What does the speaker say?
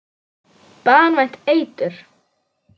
Banvænt eitur.